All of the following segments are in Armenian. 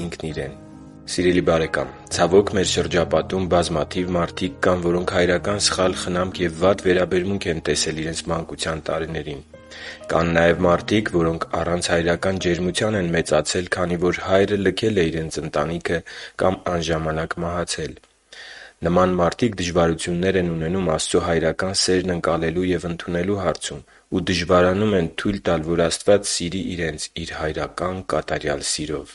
Ինքն Իրեն… Սիրելի՛ բարեկամ, ցավոք մեր շրջապատում բազմաթիվ մարդիկ կան, որոնք հայրական սխալ խնամք ու վատ վերաբերմունք են տեսել իրենց մանկության տարիներին։ Կան նաև մարդիկ, որոնք առանց հայրական ջերմության են մեծացել, քանի որ հայրը լքել է իրենց ընտանիքը կամ անժամանակ մահացել։ Նման մարդիկ դժվարություններ են ունենում Աստծո հայրական սերն ընկալելու և ընդունելու հարցում ու դժվարանում են թույլ տալ, որ Աստված սիրի իրենց Իր հայրական կատարյալ սիրով։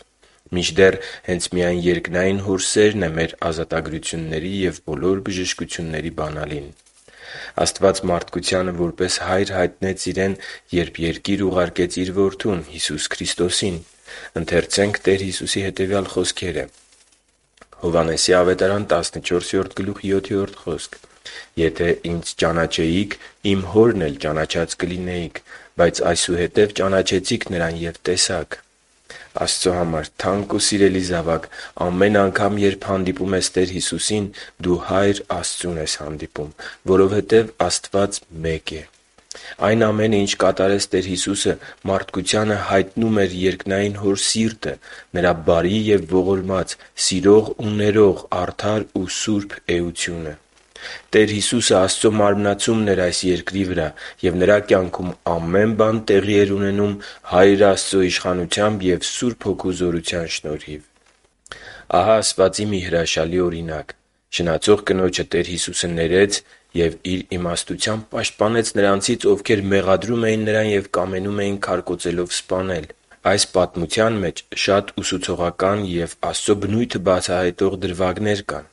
Մինչդեռ, հենց մեր երկնային Հոր սերն է մեր ազատագրությունների և բոլոր բժշկությունների բանալին։ Աստված մարդկությանը որպես Հայր հայտնեց Իրեն, երբ երկիր ուղարկեց Իր Որդուն՝ Հիսուս Քրիստոսին։ Ընթերցե՛նք Տեր Հիսուսի հետևյալ խոսքերը. «Եթե Ինձ ճանաչեիք, Իմ Հորն էլ ճանաչած կլինեիք։ Բայց այսուհետև ճանաչեցիք Նրան և տեսաք» (Հովհաննես 14․7)։ Աստծո համար թանկ ու սիրելի՛ զավակ, ամեն անգամ, երբ հանդիպում ես Տեր Հիսուսին, դու Հայր Աստծուն ես հանդիպում, որովհետև Աստված մեկ է: Այն ամենը, ինչը կատարեց Տեր Հիսուսը, մարդկությանը հայտնում էր երկնային Հոր սիրտը՝ Նրա բարի և ողորմած, սիրող ու ներող, արդար ու սուրբ էությունը։ Տեր Հիսուսը Աստծո մարմնացումն էր այս երկրի վրա, և Նրա կյանքում ամեն բան տեղի էր ունենում Հայր Աստծո իշխանությամբ և Սուրբ Հոգու զորությամբ։ Ահա ասվածի մի հրաշալի օրինակ. շնացող կնոջը Տեր Հիսուսը ներեց և Իր իմաստությամբ պաշտպանեց նրանցից, ովքեր մեղադրում էին նրան և կամենում էին քարկոծելով սպանել։ Այս պատմության մեջ շատ ուսուցողական և Աստծո բնույթը բացահայտող դրվագներ կան։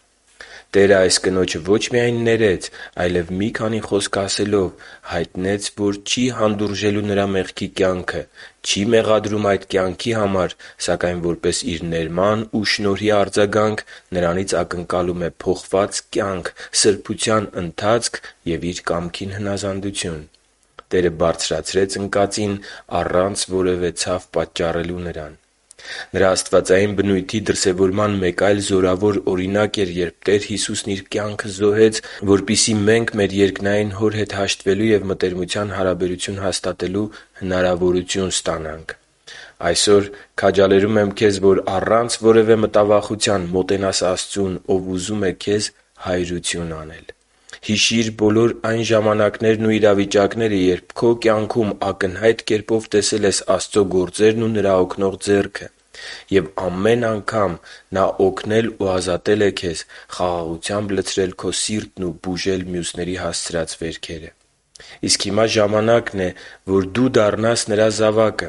Տերը այս կնոջը ոչ միայն ներեց, այլև մի քանի խոսք ասելով՝ հայտնեց, որ չի հանդուրժելու նրա մեղքի կյանքը, չի մեղադրում այդ կյանքի համար, սակայն որպես Իր ներման ու շնորհի արձագանք նրանից ակնկալում է փոխված կյանք, սրբության ընթացք և Իր կամքին հնազանդություն։ Տերը բարձրացրեց ընկածին առանց որևէ ցավ պատճառելու նրան։ Նրա աստվածային բնույթի դրսևորման մեկ այլ զորավոր օրինակ էր, երբ Տեր Հիսուսն Իր կյանքը զոհեց, որպեսզի մենք մեր երկնային Հոր հետ հաշտվելու և մտերմության հարաբերություն հաստատելու հնարավորություն ստանանք։ Այսօր քաջալերում եմ քեզ, որ առանց որևէ մտավախության մոտենաս Աստծուն, Ով ուզում է քեզ հայրություն անել։ Հիշի՛ր բոլոր այն ժամանակներն ու իրավիճակները, երբ քո կյանքում ակնհայտ կերպով տեսել ես Աստծո գործերն ու Նրա օգնող ձեռքը։ Եվ ամեն անգամ Նա օգնել ու ազատել է քեզ, խաղաղությամբ լցրել քո սիրտն ու բուժել մյուսների հասցրած վերքերը։ Իսկ հիմա ժամանակն է, որ դու դառնաս Նրա զավակը։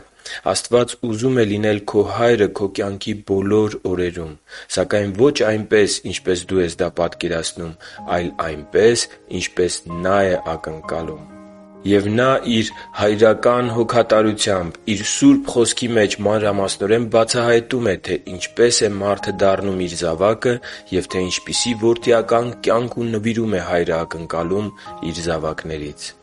Աստված ուզում է լինել քո Հայրը քո կյանքի բոլոր օրերում։ Սակայն ոչ այնպես, ինչպես դու ես դա պատկերացնում, այլ այնպես, ինչպես Նա է ակնկալում։ Եվ Նա Իր հոգատարությամբ Իր Սուրբ Խոսքի մեջ մանրամասնորեն բացահայտում է, թե ինչպե՞ս է մարդը դառնում Իր զավակը, և թե ինչպիսի՞ որդիական կյանք ու նվիրում է Հայրը ակնկալում Իր զավակներից․․․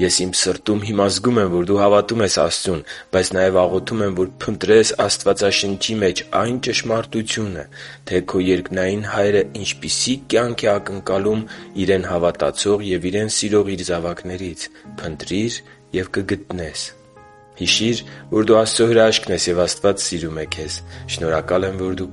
Ես իմ սրտում հիմա զգում եմ, որ դու հավատում ես Աստծուն․․․ Բայց նաև աղոթում եմ, որ փնտրես Աստվածաշնչի մեջ այն ճշմարտությունը, թե քո երկնային Հայրը ինչպիսի՞ կյանք է ակնկալում Իրեն հավատացող և Իրեն սիրող Իր զավակներից։ Փնտրի՛ր և կգտնես․․․ Հիշի՛ր, որ դու Աստծո հրաշքն ես, և Աստված սիրում է քեզ։ Շնորհակալ եմ, որ դու